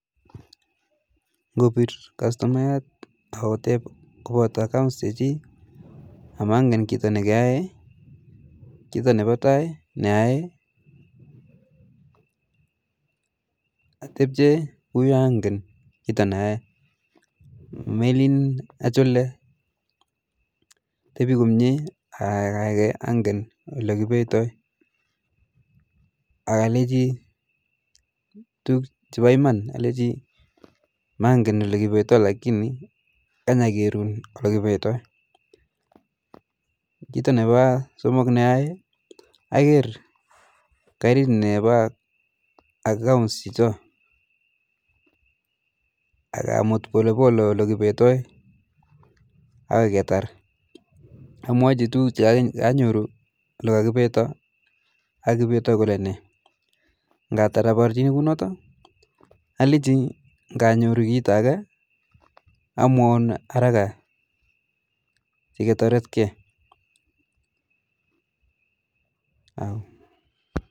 Ngopir customayat ako tep kopoto accounts chichi ak mangen kito nekae, itepche kunyo ange kito ni ae melin achole atepi komye akaaike ange ole kipetoi akalechi tukuk che pa iman, alechi mangen ole kipetoi lakini kany' akerun ole kipetoi ,kito ne pa somok ne keae aker oret che pa akauns chechoo akamut polepole olekepetoi akoi ketar ,amwachi tukuk che kanyoru ole kapetoi kipetoi kole nee, alechi kanyoru kito ake amwaun haraka siketaretkee